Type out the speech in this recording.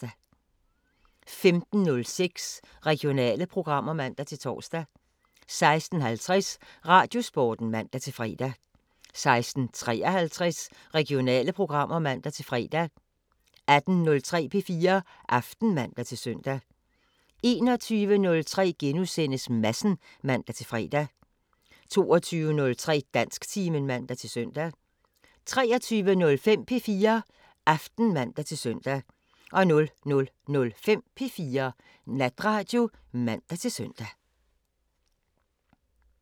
15:06: Regionale programmer (man-tor) 16:50: Radiosporten (man-fre) 16:53: Regionale programmer (man-fre) 18:03: P4 Aften (man-søn) 21:03: Madsen *(man-fre) 22:03: Dansktimen (man-søn) 23:05: P4 Aften (man-søn) 00:05: P4 Natradio (man-søn)